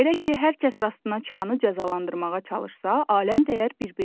Belə ki, hər kəs rastına çıxanı cəzalandırmağa çalışsa, aləm dəyər bir-birinə.